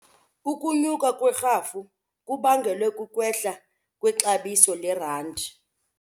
Ukunyuka kwerhafu kubangelwe kukwehla kwexabiso lerandi.